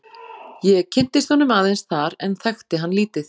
Ég kynntist honum aðeins þar en þekkti hann lítið.